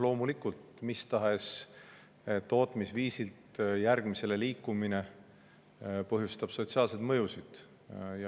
Loomulikult, mis tahes tootmisviisilt järgmisele liikumine põhjustab sotsiaalseid mõjusid.